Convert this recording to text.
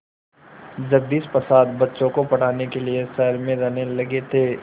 जगदीश प्रसाद बच्चों को पढ़ाने के लिए शहर में रहने लगे थे